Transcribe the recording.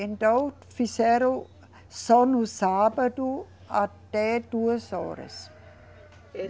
Então fizeram só no sábado até duas horas.